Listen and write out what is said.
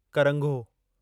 करंघो